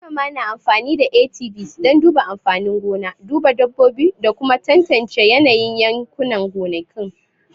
Manoma na amfani da ATVs don duba amfanin gona, duba dabbobi, da kuma tantance yanayin yankunan gonakin